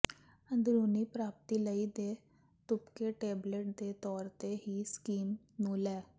ਅੰਦਰੂਨੀ ਪ੍ਰਾਪਤੀ ਲਈ ਦੇ ਤੁਪਕੇ ਟੇਬਲੇਟ ਦੇ ਤੌਰ ਤੇ ਹੀ ਸਕੀਮ ਨੂੰ ਲੈ